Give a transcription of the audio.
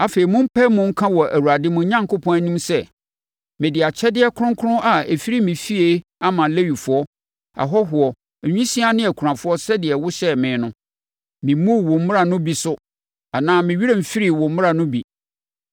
Afei, mompae mu nka wɔ Awurade, mo Onyankopɔn, anim sɛ, “Mede akyɛdeɛ kronkron a ɛfiri me fie ama Lewifoɔ, ahɔhoɔ, nwisiaa ne akunafoɔ sɛdeɛ wohyɛɛ me no. Memmuu wo mmara no bi so anaa me werɛ mfirii wo mmara no bi.